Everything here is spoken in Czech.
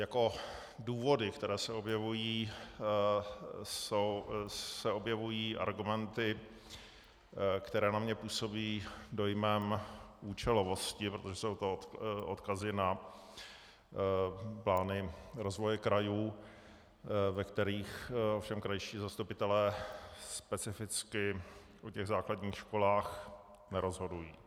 Jako důvody, které se objevují, se objevují argumenty, které na mě působí dojmem účelovosti, protože jsou to odkazy na plány rozvoje krajů, ve kterých ovšem krajští zastupitelé specificky o těch základních školách nerozhodují.